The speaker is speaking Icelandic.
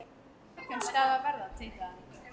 Á morgun skal það verða, tautaði hann.